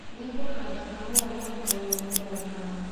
Nĩngũhanda kahũa mwaka ũyũ ũroka.